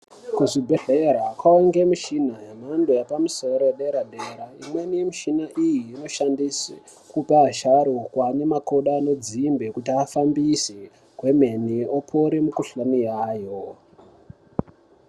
Kuzvibhehlera kwange mishina yemhando yepamusoro yedera-dera imweni yemishina iyi inoshandiswe kupa asharukwa ane makodo anodzimbe kuti afambise kwemene opore mikhuhlani yayo.